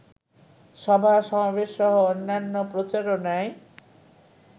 সভা-সমাবেশসহ অন্যান্য প্রচারণায়